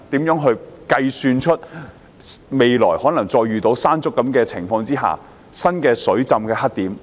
如何推算未來再遇到類似"山竹"的情況時出現的新水浸黑點？